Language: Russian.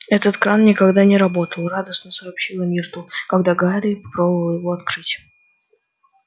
этот кран никогда не работал радостно сообщила миртл когда гарри попробовал его открыть